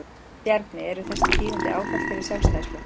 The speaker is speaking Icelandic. Bjarni, eru þessi tíðindi áfall fyrir Sjálfstæðisflokkinn?